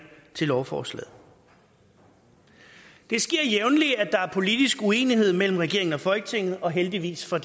til lovforslaget det sker jævnligt at der er politisk uenighed mellem regeringen og folketinget og heldigvis for